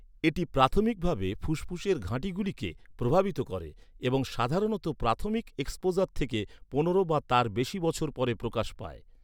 এটি প্রাথমিকভাবে ফুসফুসের ঘাঁটিগুলিকে প্রভাবিত করে এবং সাধারণত প্রাথমিক এক্সপোজার থেকে পনেরো বা তার বেশি বছর পরে প্রকাশ পায়।